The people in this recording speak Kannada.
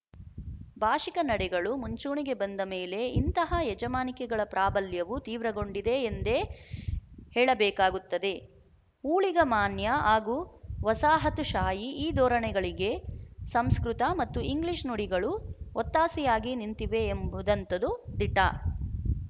ಭಾಶಿಕ ನಡೆಗಳು ಮುಂಚೂಣಿಗೆ ಬಂದ ಮೇಲೆ ಇಂತಹ ಯಜಮಾನಿಕೆಗಳ ಪ್ರಾಬಲ್ಯವು ತೀವ್ರಗೊಂಡಿದೆ ಎಂದೇ ಹೇಳಬೇಕಾಗುತ್ತದೆ ಊಳಿಗಮಾನ್ಯ ಹಾಗೂ ವಸಾಹತುಶಾಹಿ ಈ ಧೋರಣೆಗಳಿಗೆ ಸಂಸ್ಕೃತ ಮತ್ತು ಇಂಗ್ಲಿಶು ನುಡಿಗಳು ಒತ್ತಾಸೆಯಾಗಿ ನಿಂತಿವೆ ಎಂಬುದಂತದು ದಿಟ